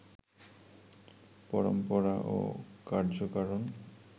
পরম্পরা ও কার্যকারণ